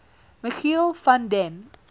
michiel van den